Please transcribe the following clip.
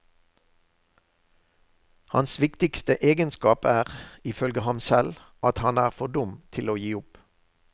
Hans viktigste egenskap er, ifølge ham selv, at han er for dum til å gi opp.